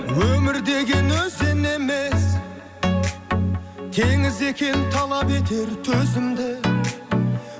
өмір деген өзен емес теңіз екен талап етер төзімді